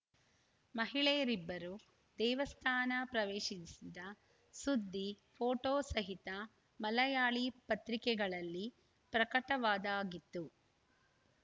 ಮಹಿಳೆಯರಿಬ್ಬರು ದೇವಸ್ಥಾನ ಪ್ರವೇಶಿಸಿದ ಸುದ್ದಿ ಫೋಟೋ ಸಹಿತ ಮಲಯಾಳಿ ಪತ್ರಿಕೆಗಳಲ್ಲಿ ಪ್ರಕಟವಾದಾಗಿತ್ತು